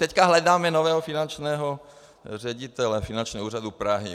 Teď hledáme nového finančního ředitele Finančního úřadu Praha.